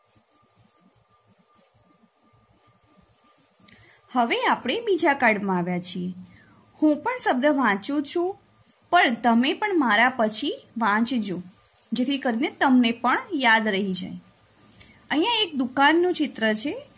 હવે આપણે બીજા કાર્ડમાં આવ્યા છીએ હું પણ શબ્દ વાંચું છું પણ તમે પણ મારા પછી વાંચજો જેથી કરીને તમને પણ યાદ રહી જાય અહિયાં એક દુકાનનું ચિત્ર છે.